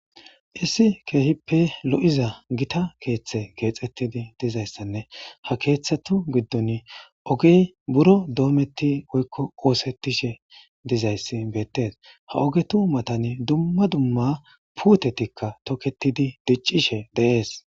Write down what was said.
Issi keehippe lo'iza gita keeththe geexettidi dizayssanne ha keeththetu giddon ogey buro doometti oykko oosettishe dizayssi beettes ha ogetu matani dumma dumma puutetikka toketidi diccishe deees.